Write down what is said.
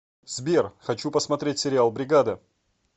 сбер хочу посмотреть сериал бригада